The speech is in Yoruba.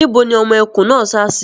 Níbo ni ọmọ ẹkùn náà sá sí?